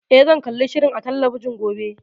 Eh, zan kalli shirin a talabijin gobe.